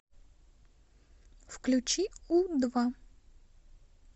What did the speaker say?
включи у два